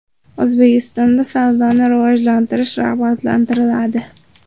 O‘zbekistonda savdoni rivojlantirish rag‘batlantiriladi.